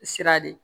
Sira de